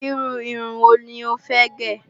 Iru irun wo ni ó fẹ́ gẹ̀?